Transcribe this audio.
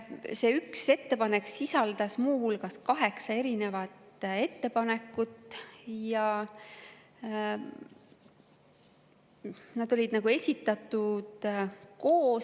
See üks ettepanek sisaldas kaheksat erinevat ettepanekut ja need olid esitatud koos.